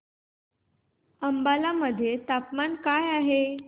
अंबाला मध्ये तापमान काय आहे